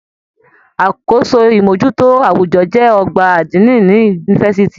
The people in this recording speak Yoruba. Àkóso imojuto awujọ jẹ ọgbà adini ní yunifásítì.